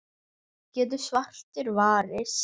getur svartur varist.